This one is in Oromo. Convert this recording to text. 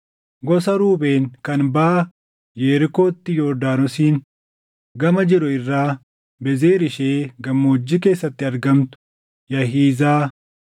gosa Ruubeen kan baʼa Yerikootti Yordaanosiin gama jiru irraa Bezer ishee gammoojjii keessatti argamtu, Yaahizaa,